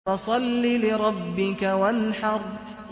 فَصَلِّ لِرَبِّكَ وَانْحَرْ